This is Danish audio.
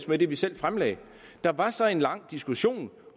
med det vi selv fremlagde der var så en lang diskussion